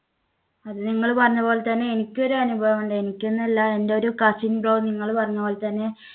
അത് നിങ്ങൾ പറഞ്ഞ പോലെ തന്നെ എനിക്കൊരു അനുഭവം ഉണ്ടായി. എനിക്കെന്നല്ല എൻടെ ഒരു cousin bro നിങ്ങള് പറഞ്ഞ പോലെ തന്നെ